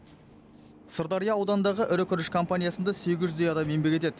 сырдария ауданындағы ірі күріш компаниясында сегіз жүздей адам еңбек етеді